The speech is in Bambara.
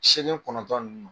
Segin kɔnɔntɔn ninnu.